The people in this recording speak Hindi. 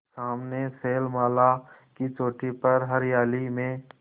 सामने शैलमाला की चोटी पर हरियाली में